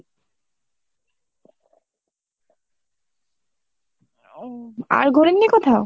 আর ঘোরেনি কোথাও ?